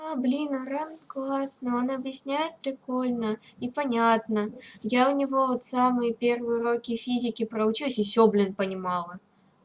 а блин аврам классный она объясняет прикольно и понятно я у него вот самые первые уроки физики про учусь и всё блин понимала